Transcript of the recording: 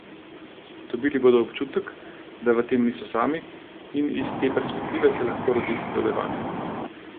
Dobili bodo občutek, da v tem niso sami, in iz te perspektive se lahko rodi sodelovanje.